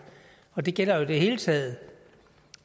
og det gælder jo i det hele taget